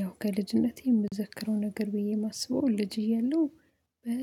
ያው ከልጅነቴ የምዘክረው ነገር ብዬ የማስበው ልጅ እያለሁ